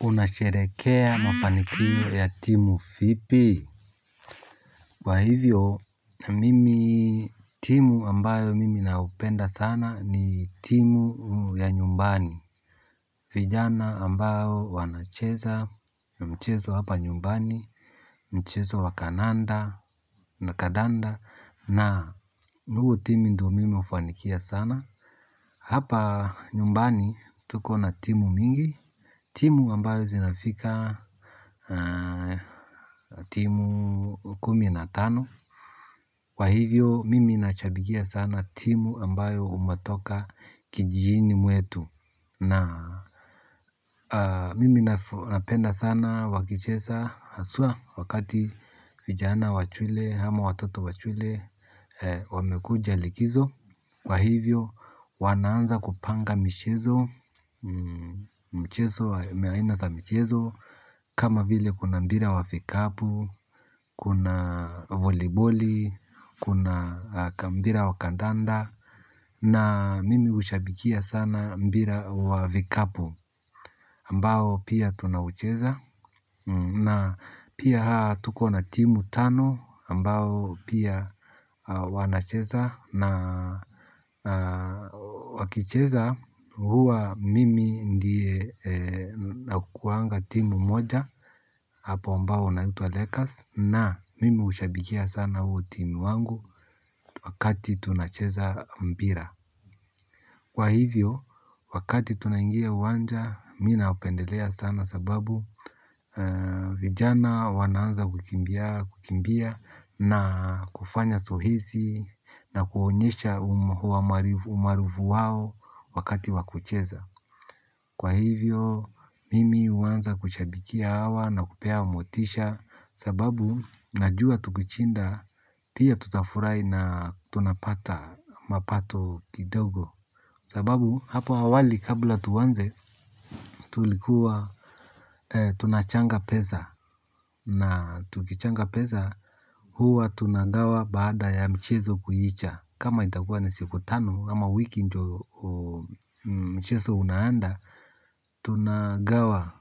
Unasherehekea mafanikio ya timu vipi? Kwa hivyo, timu ambayo mimi naipenda sana ni timu ya nyumbani. Vijana ambao wanacheza, mchezo hapa nyumbani, mchezo wa kandanda na ni huo timu mimi hufanikia sana. Hapa nyumbani tuko na timu mingi. Timu ambayo zinafika timu kumi na tano kwa hivyo mimi nashabikia sana timu ambayo unatoka kijijini mwetu na mimi napenda sana wakicheza hasa wakati vijana wa shule ama watoto wa shule wamekuja likizo kwa hivyo wanaanza kupanga michezo. Mchezo, aina za mchezo kama vile kuna mpira wa vikapu. Kuna voliboli, kuna mpira wa kandanda. Na mimi ushabikia sana mbira wa fikapu ambao pia tunaucheza na pia tuko na timu tano ambao pia wanacheza na wakicheza huwa mimi ndiye ninayeunga timu moja hapa ambayo inaitwa Lakers na mimi hushabikia sana hiyo timu wangu wakati tunacheza mpira. Kwa hivyo, wakati tunaingia kwa uwanja, mimi napendelea sana sababu vijana wanaanza kukimbia na kufanya zoezi na kuonyesha umaarufu wao wakati wa kucheza. Kwa hivyo, mimi huanza kushabikia hawa na kuwapa motisha sababu najua tukishinda pia tutafurahi na tunapata mapato kidogo. Sababu hapo awali kabla tuanze tulikuwa tunachanga pesa na tukichanga pesa huwa tunagawa baada ya mchezo kuisha. Kama itakuwa ni siku tano, ama wiki ndiyo mchezo unaanza, tunagawa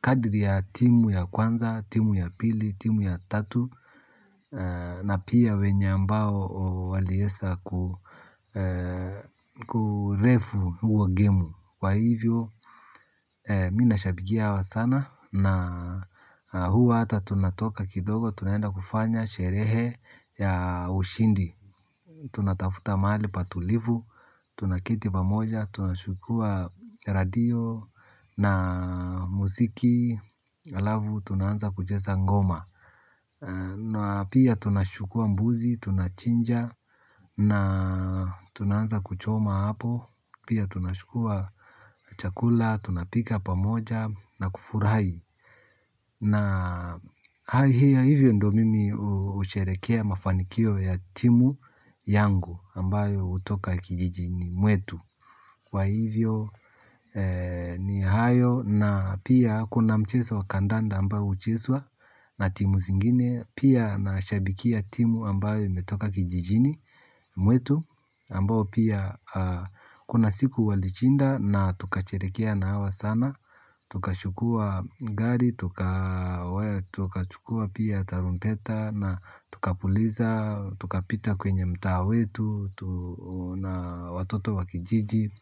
kadri ya timu ya kwanza, timu ya pili, timu ya tatu, na pia wale ambao waliweza kurefu huo gemu. Kwa hivyo, mimi nashabikia hawa sana na huwa hata tunatoka kidogo tunaenda kufanya sherehe ya ushindi, tunatafuta mahali patulivu tunaketi pamoja tunachukuwa redio na muziki halafu tunaanza kucheza ngoma. Na pia tunachukua mbuzi, tunachinja na tunaanza kuchoma hapo. Pia tunachukua chakula, tunapika pamoja na kufurahi. Na hivyo ndiyo mimi husherehekea mafanikio ya timu yangu ambayo hutoka kijijini mwetu kwa hivyo ni hayo na pia kuna mchezo wa kandanda ambao huchezwa na timu zingine. Pia nashabikia timu ambayo imetoka kijijini mwetu ambayo pia kuna siku walishinda na tukasherehekea nao sana. Tukachukua gari, tukachukua pia tarumbeta na tukaupuliza, tukapita kwenye mtaa wetu watoto wa kijiji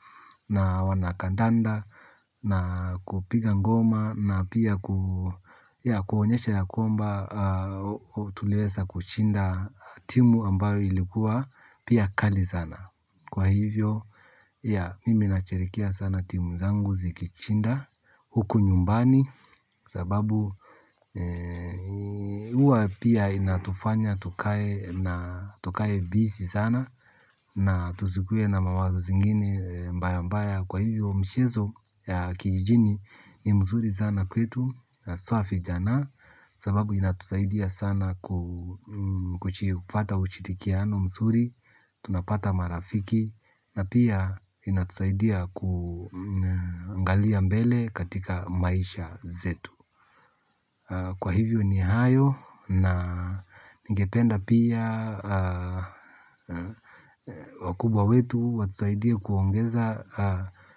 na wanakandanda na kupiga ngoma na pia kuonyesha kwamba tuliweza kushinda timu ambayo ilikuwa pia kali sana kwa hivyo ya mimi husherehekea sana timu zangu zikishinda huku nyumbani kwa sababu huwa pia inatufanya tukae na tukae bizi sana. Na tusikuwe na mawazo mengine mbaya mbaya kwa hivyo mchezo ya kijijini ni mzuri sana kwetu hasa vijana sababu inatusaidia sana kupata ushirikiano mzuri. Tunapata marafiki na pia inatusaidia kuangalia mbele katika maisha yetu. Kwa hivyo ni hayo na ningependa pia wakubwa wetu watusaidie kuongeza.